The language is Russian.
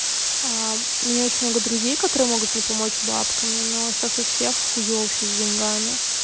а у меня очень много друзей которые могут мне помочь бабками но сейчас у всех хуёво всё с деньгами